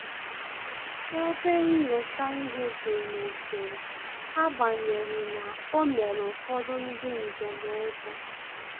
Ebe nnyocha ihe dị n'usoro, agbanyeghi na o mere ụfọdụ ndị njem ụjọ